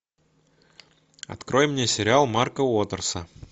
открой мне сериал марка уотерса